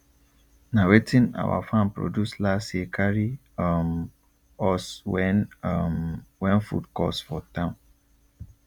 na wetin our farm produce last year carry um us when um when food cost for town